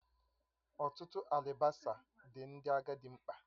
Ọtụtụ alibasa dị Ndị agadi mkpa